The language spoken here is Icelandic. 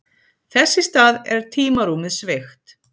Þess í stað er tímarúmið sveigt.